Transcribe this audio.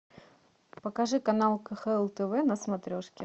покажи канал кхл тв на смотрешке